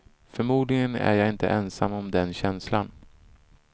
Förmodligen är jag inte ensam om den känslan.